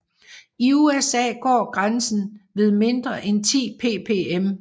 I USA går grænsen ved mindre end 10 ppm